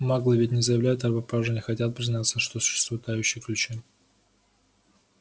маглы ведь не заявляют о пропаже не хотят признать что существуют тающие ключи